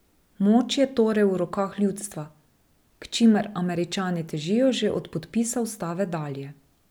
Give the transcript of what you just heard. Moč je torej v rokah ljudstva, k čimer Američani težijo že od podpisa ustave dalje.